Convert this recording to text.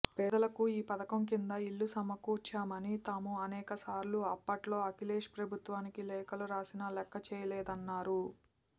పేదలకు ఈ పథకం కింద ఇళ్లు సమకూర్చమని తాము అనేకసార్లు అప్పట్లో అఖిలేష్ ప్రభుత్వానికి లేఖలను రాసినా లెక్కచేయలేదన్నారు